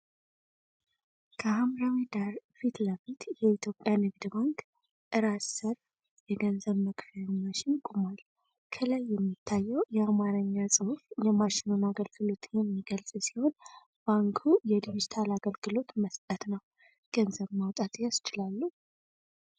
ከሐምራዊ ዳራ ፊት ለፊት የኢትዮጵያ ንግድ ባንክ (CBE) ራስ ሰር የገንዘብ መክፈያ ማሽን (ATM) ቆሟል። ከላይ የሚታየው የአማርኛ ጽሑፍ የማሽኑን አገልግሎት የሚገልጽ ሲሆን፣ ባንኩ የዲጂታል አገልግሎት መስጠት ነው። ገንዘብ ማውጣት ያስችላሉ?